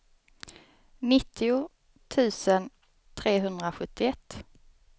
nittio tusen trehundrasjuttioett